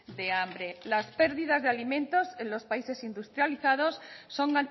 de hambre las pérdidas de alimentos en los países industrializados son